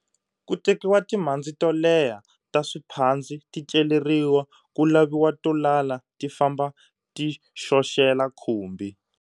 Ku tekiwa timhandzi to leha ta swiphandzi ti celeriwa, ku laviwa to lala ti famba ti xoxela khumbi.